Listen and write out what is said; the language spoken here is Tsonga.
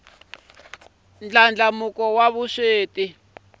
ndlandlamuko wa vusweti